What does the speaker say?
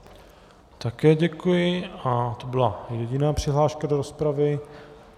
Také děkuji a to byla jediná přihláška do rozpravy.